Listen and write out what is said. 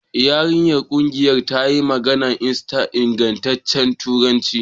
Yarinyar ƙauyen ta yi magana da ingantaccen turanci.